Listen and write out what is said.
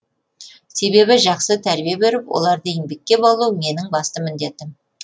себебі жақсы тәрбие беріп оларды еңбекке баулу менің басты міндетім